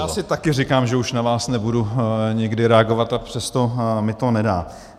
Já si taky říkám, že už na vás nebudu nikdy reagovat, a přesto mi to nedá.